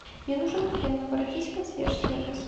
мне нужен фен обратись в консьерж сервис